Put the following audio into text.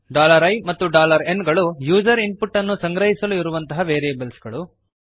i ಮತ್ತು n ಗಳು user input ಅನ್ನು ಸಂಗ್ರಹಿಸಲು ಇರುವಂತಹ ವೇರಿಯೇಬಲ್ಸ್ ಗಳು